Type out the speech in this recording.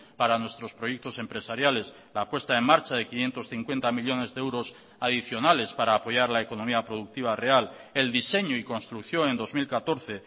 para nuestros proyectos empresariales la puesta en marcha de quinientos cincuenta millónes de euros adicionales para apoyar la economía productiva real el diseño y construcción en dos mil catorce